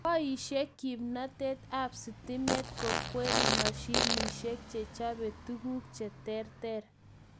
Boishei kimnatet ab stimet kokweri mashinishek che chobe tukuk che terter